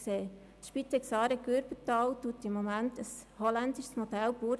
Die Spitex AareGürbetal setzt im Moment ein holländisches Modell um.